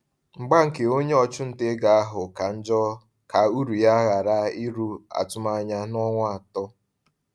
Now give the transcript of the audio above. Mgba nke onye ọchụnta ego ahụ ka njọ ka uru ya ghara iru atụmanya n’ọnwa atọ.